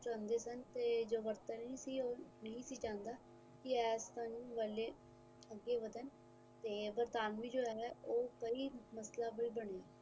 ਮਾਰ ਲੈਣਾ ਚਾਦੇ ਸਨ ਤੇ ਯੂਰੋਪ ਨਹੀਂ ਸੀ ਚਾਦਾ ਕਿ ਇਸ ਵਾਲੇ ਅੱਗੇ ਵਧਣ ਤੇ ਵਤਰਾਮੀ ਉਹ ਸਹੀ ਮਸਲਾ ਬਣੇ